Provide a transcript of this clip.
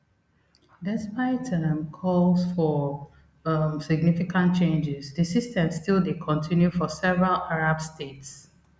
despite um calls for um significant changes di system still dey continue for several arab states